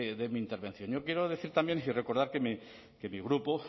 de mi intervención yo quiero decir también y que recordar que mi grupo